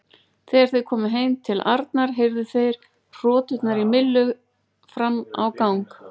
Þegar þeir komu heim til Arnar heyrðu þeir hroturnar í Millu fram á gang.